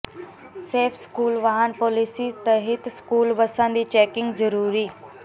safe school ਵਾਹਨ policy ਤਹਿਤ school ਬੱਸਾਂ ਦੀ ਚੈਕਿੰਗ ਜ਼ਰੂਰੀ